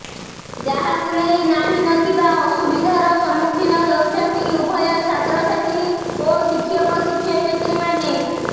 ଯାହାକୁ ନେଇ ନାହିଁ ନ ଥିବା ଅସୁବିଧାର ସମ୍ମୁଖୀନ ହେଉଛନ୍ତି ଉଭୟ ଛାତ୍ରଛାତ୍ରୀ ଓ ଶିକ୍ଷକଶିକ୍ଷୟତ୍ରୀମାନେ